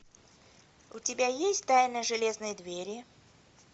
у тебя есть тайна железной двери